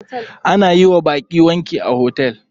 Ana yiwa baƙi wanki a hotel.